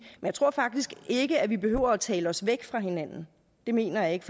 jeg tror faktisk ikke at vi behøver at tale os væk fra hinanden det mener jeg ikke